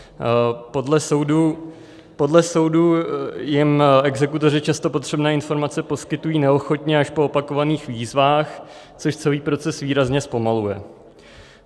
Podle soudů jim exekutoři často potřebné informace poskytují neochotně, až po opakovaných výzvách, což celý proces výrazně zpomaluje.